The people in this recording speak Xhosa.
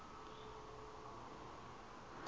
uhuben